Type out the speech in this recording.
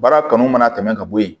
Baara kanu mana tɛmɛ ka bɔ yen